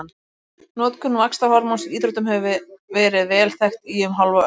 Notkun vaxtarhormóns í íþróttum hefur verið vel þekkt í um hálfa öld.